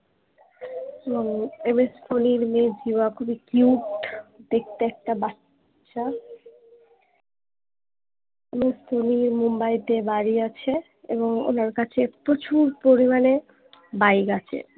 এবং MS ধনীর মেয়ে জিভা খুবই cute দেখতে একটা বাচ্চা MS ধোনির মুম্বাইতে বাড়ি আছে এবং ওনার কাছে প্রচুর পরিমাণে Bike আছে